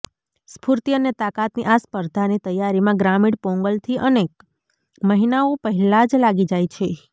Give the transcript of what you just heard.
સ્ફૂર્તિ અને તાકતની આ સ્પર્ધાની તૈયારીમાં ગ્રામીણ પોંગલથી અનેક મહિનાઓ પહેલા જ લાગી જાય છે